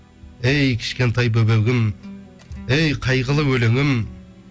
әй кішкентай бөбегім әй қайғылы өлеңім